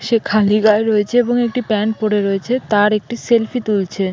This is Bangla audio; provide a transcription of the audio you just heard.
রয়েছে এবং একটি প্যান্ট পরে রয়েছে তার একটি সেলফি তুলছে।